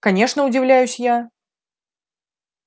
конечно удивляюсь я